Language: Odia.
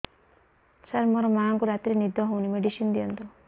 ସାର ମୋର ମାଆଙ୍କୁ ରାତିରେ ନିଦ ହଉନି ମେଡିସିନ ଦିଅନ୍ତୁ